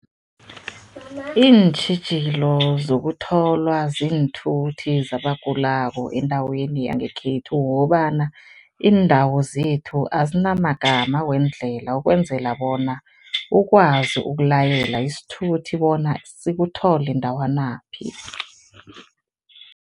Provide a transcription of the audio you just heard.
Iintjhijilo zokutholwa ziinthuthi zabagulako endaweni yangekhethu kukobana, iindawo zethu azinamagama weendlela ukwenzela bona ukwazi ukulayela isithuthi bona sikuthole ndawanaphi.